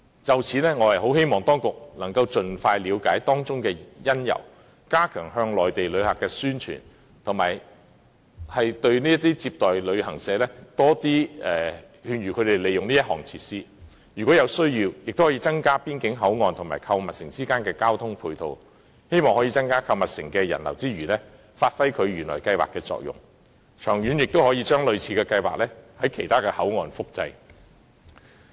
就此，我希望當局能盡快了解當中的因由，加強向內地旅客的宣傳，以及勸諭接待旅行社多利用這項設施，如有需要，亦可增加邊境口岸與購物城之間的交通配套，希望在增加購物城的人流之餘，發揮原來計劃的作用，長遠亦可把類似的計劃在其他邊境口岸複製。